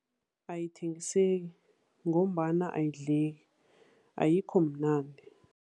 Ayithengisako ngombana ayidleki, ayikhomnandi.